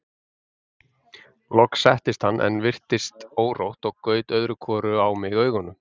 Loks settist hann en virtist órótt og gaut öðru hvoru á mig augunum.